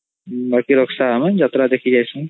ବାକି ରକଶା ଆମେ ଯାତ୍ରା ଦେଖି ଯାଇଛି